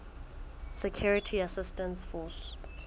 security assistance force